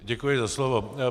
Děkuji za slovo.